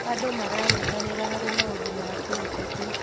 Andũ maranyitanĩra harĩ maũndũ ma kĩũteti.